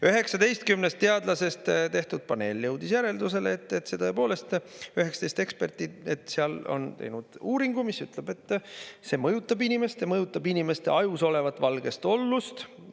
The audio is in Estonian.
19 teadlasest paneel jõudis järeldusele, tõepoolest, 19 eksperti olid teinud uuringu, mis ütles, et see mõjutab inimest ja mõjutab inimeste ajus olevat valgeollust.